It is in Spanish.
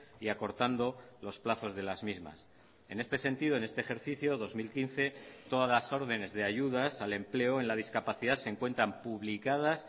y acortando los plazos de las mismas en este sentido en este ejercicio dos mil quince todas las ordenes de ayudas al empleo en la discapacidad se encuentran publicadas